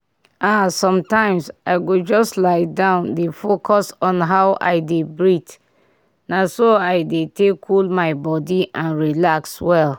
ah sometimes i go just lie down dey focus on how i dey breathe na so i dey take cool my body and relax well.